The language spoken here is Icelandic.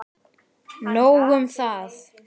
Nóg um það!